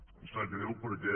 i em sap greu perquè